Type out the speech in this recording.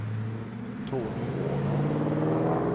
Tony Åman